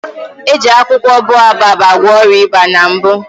Eji akwụkwọ boababụ gwọ ọrịa ịba na mbụ